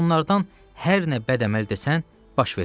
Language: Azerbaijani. Onlardan hər nə bəd-əməl desən, baş verər.